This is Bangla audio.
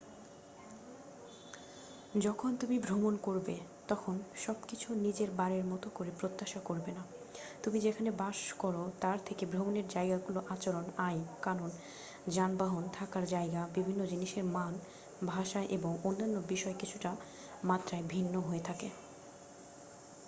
যখন তুমি ভ্রমন করবে তখন সবকিছু নিজের বাড়ির মতো করে প্রত্যাশা করবে না তুমি যেখানে বাস করো তার থেকে ভ্রমনের যায়গাগুলোতে আচরণ আইন কানুন যানবাহন থাকার যায়গা বিভিন্ন জিনিসের মান ভাষা এবং অন্যান্য বিষয় কিছুটা মাত্রায় ভিন্ন হয়ে থাকে